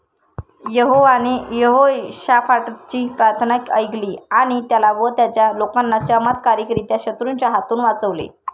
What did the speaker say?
यहोवाने यहोशाफाटाची प्रार्थना ऐकली आणि त्याला व त्याच्या लोकांना चमत्कारिक रीत्या शत्रूंच्या हातून वाचवले.